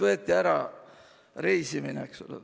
Võeti ära reisimine.